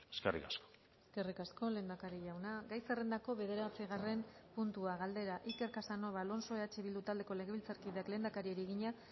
eskerrik asko eskerrik asko lehendakari jauna gai zerrendako bederatzigarren puntua galdera iker casanova alonso eh bildu taldeko legebiltzarkideak lehendakariari egina